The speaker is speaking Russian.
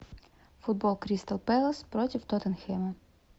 футбол кристал пэлас против тоттенхэма